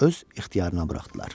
Öz ixtiyarına buraxdılar.